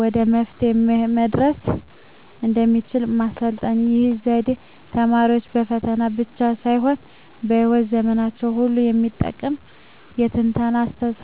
ወደ መፍትሄው መድረስ እንደሚችሉ ማሰልጠን። ይህ ዘዴ ተማሪዎች በፈተና ብቻ ሳይሆን በሕይወት ዘመናቸው ሁሉ የሚጠቅም የትንታኔ አስተሳሰብ እንዲገነቡ ይረዳል።